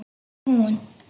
Var hún?!